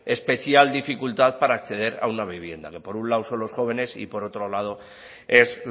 especial dificultad para acceder a una vivienda por un lado son los jóvenes y por otro lado es